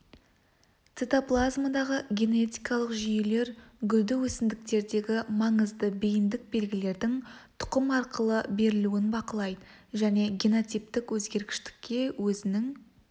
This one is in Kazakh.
цитоплазмадағы генетикалық жүйелер гүлді өсімдіктердегі маңызды бейіндік белгілердің тұқым арқылы берілуін бақылайды және генотиптік өзгергіштікке өзінің